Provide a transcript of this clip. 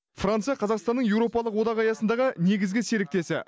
франция қазақстанның еуропалық одақ аясындағы негізгі серіктесі